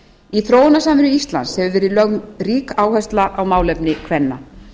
í þróunarsamvinnu íslands hefur verið lögð rík áhersla á málefni kvenna